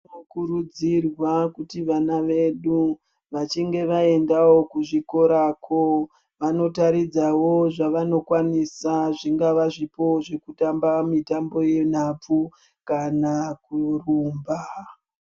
Zvino kurudzirwa kuti vana vedu vachinge va endawo ku zvikorako vano taridzawo zvavano kwanisa zvingava zvipo zveku tamba mitambo ye nhabvu kana kurumba.